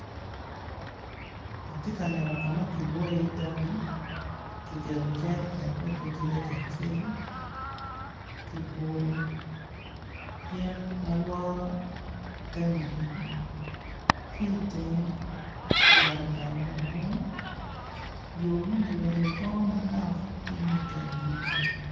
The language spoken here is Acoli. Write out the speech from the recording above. Atye ka neno ka ma kidwoyo i iye tangi, kiketo i iye jereken me twenty litter acel kiguro yen ma lworo tangi eni ki tenge yat odongo madwong yor moni bene gono manok ci mede anyim